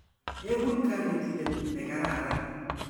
Ekun kanetindet ne kararan.